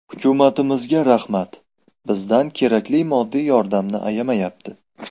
Hukumatimizga rahmat, bizdan kerakli moddiy yordamini ayamayapti.